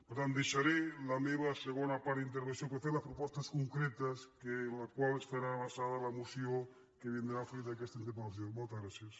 per tant dei·xaré la meva segona part d’intervenció per fer les pro·postes concretes en les quals estarà basada la moció que vindrà fruit d’aquesta interpelmoltes gràcies